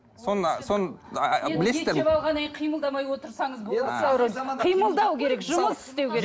қимылдау керек жұмыс істеу керек